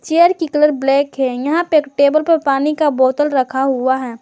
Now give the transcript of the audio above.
Chair की colour black है यहां पे एक टेबल पर पानी का बोतल रखा हुआ है।